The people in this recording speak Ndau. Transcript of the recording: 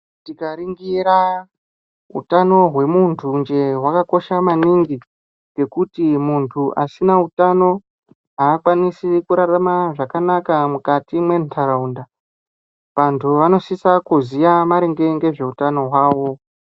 Tikaringiira utano hwemuntunje hwakosha maningi, ngekuti muntu asina utano aakwanisi kurarama zvakanaka mukati mwentaraunda. Vantu vanosisa kuziya maringe ngeutano hwavo.